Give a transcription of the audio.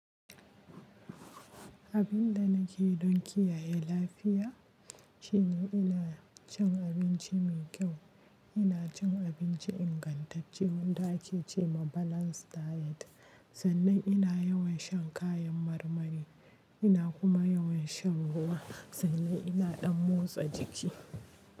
Abin da nake yi don kiyaye lafiya shine ina cin abinci mai kyau. Ina cin abinci ingantacce wanda ake ce ma balanced diet sannan ina yawan shan kayan marmari. Ina kuma yawan shan ruwa sannan ina ɗan motsa jiki.